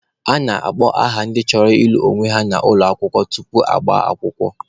A na-akpọ aha ndị chọrọ ịlụ onwe ha n'ụlọ ụka tupu ha agbaa akwụkwọ.